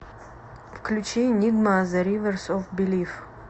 включи энигма зе риверс оф белиф